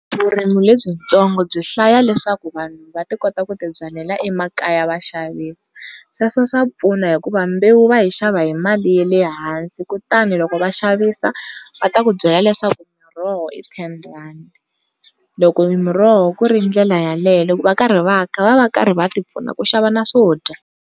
Vurimi lebyitsongo byi hlaya leswaku vanhu va ti kota ku ti byalela emakaya va xavisa. Sweswo swa pfuna hikuva mbewu va yi xava hi mali ya le hansi kutani loko va xavisa va ta ku byela leswaku miroho i ten rhandi, loko miroho ku ri ndlela yaleyo loko va karhi va va va ri karhi va ti pfuna ku xava na swodya.